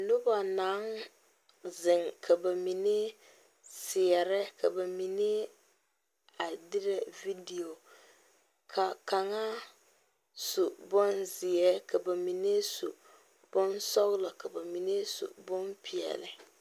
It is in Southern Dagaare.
Noba naŋ zeŋ ka ba mine seɛre ka ba mine a derɛ video ka kaŋa su bonzeɛ ka ba mine su bonsɔglɔ ka ba mine su bonpɛɛle.